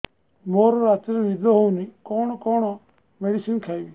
ମୋର ରାତିରେ ନିଦ ହଉନି କଣ କଣ ମେଡିସିନ ଖାଇବି